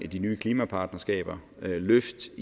de nye klimapartnerskaber med løft